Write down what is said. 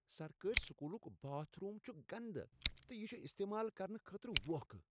سرکٲرۍ سکوٗلک bathroom چھ گندٕ تہٕ یہٕ چھ استعمال کرنہٕ خٲطرٕ ووکھٕ۔